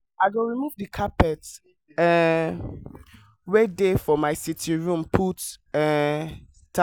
i go remove the carpet um wey dey for my sitting room put um tile